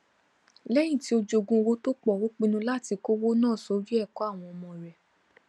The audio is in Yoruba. lẹyìn tí ó jogún owó tó pọ ó pinnu láti kówó náà sórí ẹkọ àwọn ọmọ rẹ